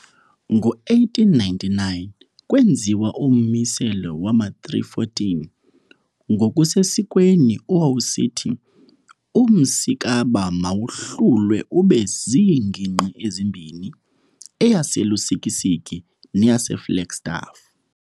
Ngo1899 kwenziwa ummiselo wama-314 ngokusesikweni owawusithi uMmsikaba mawahlulwe ube ziingingqi ezimbini, eyaseLusikisiki neyaseFlagstaff.